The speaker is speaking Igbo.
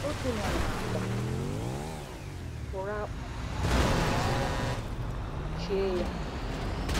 Ọ dina n'àkwà, fụrụ akpụ na ọnya kpuchie ya.